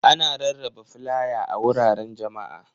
Ana rarraba flaya a wuraren jama'a.